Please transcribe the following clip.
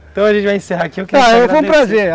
Então a gente vai encerrar aqui... Ah, foi um prazer.